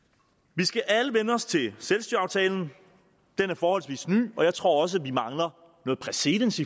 vi skal alle vænne os til selvstyreaftalen den er forholdsvis ny og jeg tror også at vi mangler noget præcedens